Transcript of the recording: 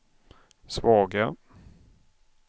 svaga